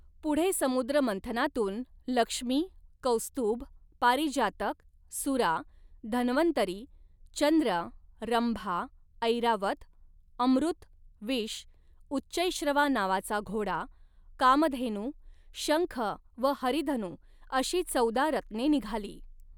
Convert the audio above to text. पुढे समुद्रमंथनातून लक्ष्मी, कौस्तुभ, पारिजातक, सुरा, धन्वंतरी, चंद्र, रंभा, ऐरावत, अमृत, विष, उच्चैःश्रवा नावाचा घोडा, कामधेनू, शंख व हरिधनू अशी चौदा रत्ने निघाली.